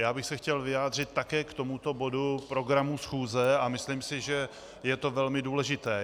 Já bych se chtěl vyjádřit také k tomuto bodu programu schůze a myslím si, že je to velmi důležité.